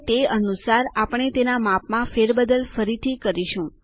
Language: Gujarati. અને તે અનુસાર આપણે તેના માપમાં ફેરબદલ ફરીથી કરીશું